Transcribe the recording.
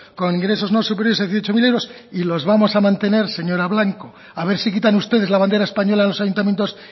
con ingresos no superiores a dieciocho mil euros y los vamos a mantener señora blanco a ver si quitan ustedes la bandera española de los ayuntamientos